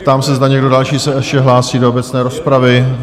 Ptám se, zda někdo další se ještě hlásí do obecné rozpravy?